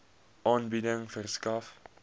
aanbieding verskaf